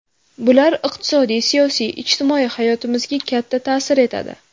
Bular iqtisodiy, siyosiy, ijtimoiy hayotimizga katta ta’sir etadi.